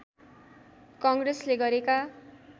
कङ्ग्रेसले गरेका